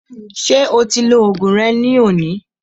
Ṣé o ti lo oògùn rẹ ní òní?